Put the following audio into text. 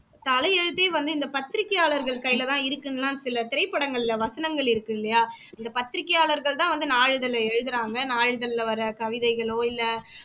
தலையெழுத்தையே வந்து இந்த பத்திரிக்கையாளர்கள் கையிலதான் இருக்குன்னுலாம் சில திரைப்படங்களில வசனங்கள் இருக்கு இல்லையா இந்த பத்திரிக்கையாளர்கள்தான் வந்து நாளிதழை எழுதறாங்க நாளிதழ்ல வர கவிதைகளோ இல்ல